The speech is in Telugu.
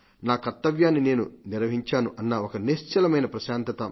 నా కర్తవ్యాన్ని నేను నిర్వహించాను అన్న ఒక నిశ్చలమైన ప్రశాంతత